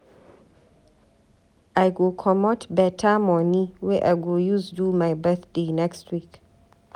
I go comot beta moni wey I go use do my birthday next week.